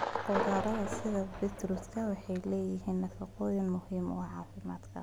Khudradda sida beetroot waxay leeyihiin nafaqooyin muhiim ah caafimaadka.